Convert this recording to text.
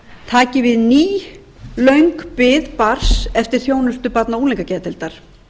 taki við ný löng bið barns eftir þjónustu barna og unglingageðdeildar